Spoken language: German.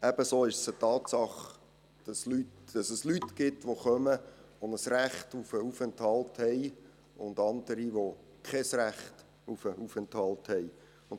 Ebenso ist es eine Tatsache, dass es Leute gibt, die kommen, die ein Recht auf einen Aufenthalt haben, und dass es andere gibt, die kein Recht auf einen Aufenthalt haben.